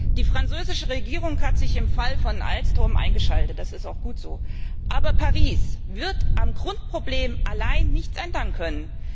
Die französische Regierung hat sich im Fall von Alstom eingeschaltet das ist auch gut so. Aber Paris wird am Grundproblem allein nichts ändern können.